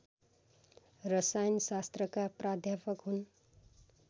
रसायनशास्त्रका प्राध्यापक हुन्